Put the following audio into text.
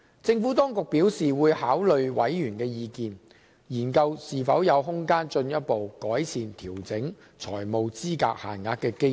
政府當局表示會考慮委員的意見，研究是否有空間進一步改善調整財務資格限額的機制。